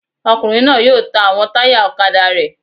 Ọkùnrin náà yóò ta àwọn táyà ọ̀kadà rẹ̀